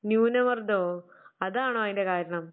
ന്യൂനമർദ്ദമോ? അതാണോ അതിൻറെ കാരണം?